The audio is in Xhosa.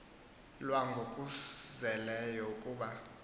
lwa ngokuzeleyo kuba